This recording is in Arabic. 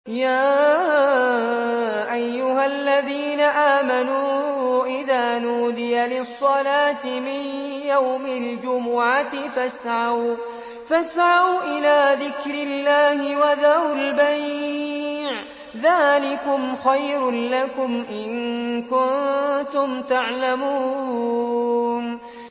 يَا أَيُّهَا الَّذِينَ آمَنُوا إِذَا نُودِيَ لِلصَّلَاةِ مِن يَوْمِ الْجُمُعَةِ فَاسْعَوْا إِلَىٰ ذِكْرِ اللَّهِ وَذَرُوا الْبَيْعَ ۚ ذَٰلِكُمْ خَيْرٌ لَّكُمْ إِن كُنتُمْ تَعْلَمُونَ